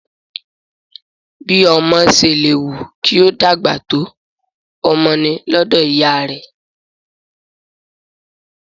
Bí ọmọ ṣe lè wù kí ó dàgbà tó, ọmọ ni lọ́dọ̀ ìyá rẹ̀